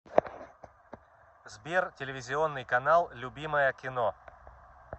сбер телевизионный канал любимое кино